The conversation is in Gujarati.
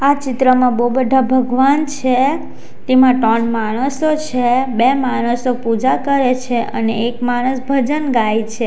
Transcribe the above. આ ચિત્રમાં બહુ બધા ભગવાન છે તેમાં ત્રણ માણસો છે બે માણસો પૂજા કરે છે અને એક માણસ ભજન ગાય છે.